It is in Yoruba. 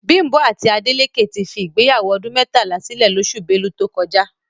Bímpé àti Adélékè ti fi ìgbéyàwó ọdún mẹ́tàlá sílè lóṣù Belu tó kọjá